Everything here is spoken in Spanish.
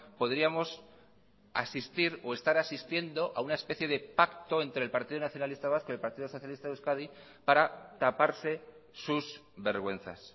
podríamos asistir o estar asistiendo a una especie de pacto entre el partido nacionalista vasco y el partidos socialista de euskadi para taparse sus vergüenzas